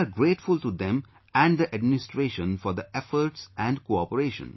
We are grateful to them and the administration for their efforts and cooperation